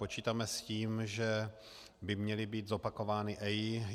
Počítáme s tím, že by měly být zopakovány EIA.